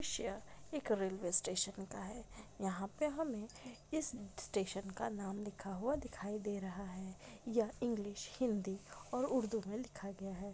पिक्चर एक railway station का है यहा पे हमे इस स्टेशन का नाम लिखा हुआ दिखाई दे रहा है यह इंग्लिश हिंदी और उर्दू में लिखा गया है।